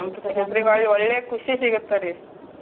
ಒಳ್ಳೆ ಖುಷಿ ಸಿಗುತ್ತ ರೀ.